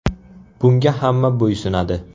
Bunga hamma bo‘ysunadi.